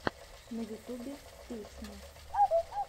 на ютубе песни